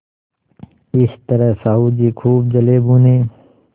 इस तरह साहु जी खूब जलेभुने